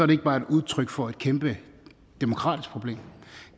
det ikke bare et udtryk for et kæmpe demokratisk problem